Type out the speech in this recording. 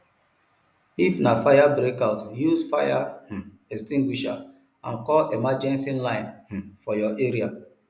if na fire outbreak use fire um extinguisher and call emergency line um for your area